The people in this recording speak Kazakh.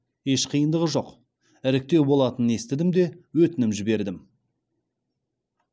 еш қиындығы жоқ іріктеу болатынын естідім де өтінім жібердім